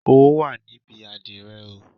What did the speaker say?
Owó wà níbi àdìrẹ oo